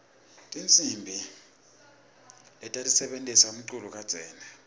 tihsimbi lebatisebentisela umculo takudzala